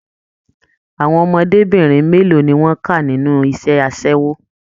Àwọn ọmọdébinrin mélòó ni wọn ká nínú iṣẹ asẹwo?